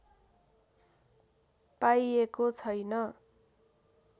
पाइएको छैन